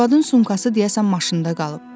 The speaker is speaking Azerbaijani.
Arvadın sumkası deyəsən maşında qalıb.